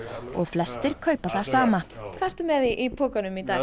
og flestir kaupa það sama hvað ertu með í pokanum í dag